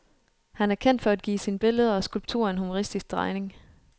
Han er kendt for at give sine billeder og skulpturer en humoristisk drejning.